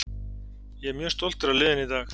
Ég er mjög stoltur af liðinu í dag.